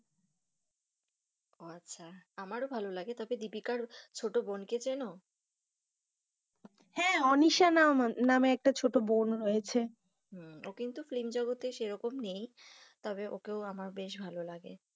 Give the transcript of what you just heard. আচ্ছা আমরাও ভালো লাগে তবে দীপিকার ছোট বোন কে চেনো? হ্যাঁ অনিশা নাম নামে একটা ছোট বোন রয়েছে, ও কিন্তু film জগতে সেই রকম নেই, তবে ওকে আমার বেশ ভালো লাগে।